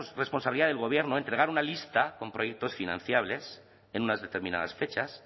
responsabilidad del gobierno entregar una lista con proyectos financiables en unas determinadas fechas